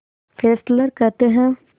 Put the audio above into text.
Fessler कहते हैं